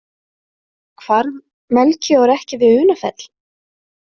Hvarf Melkíor ekki við Unafell?